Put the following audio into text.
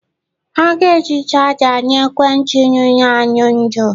Ha ga-eji charger nye ekwentị nyụrụ anyụ ndụ.